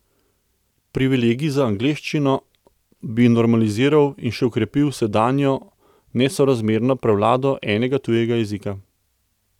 Privilegij za angleščino bi normaliziral in še okrepil sedanjo nesorazmerno prevlado enega tujega jezika.